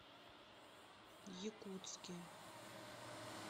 якутске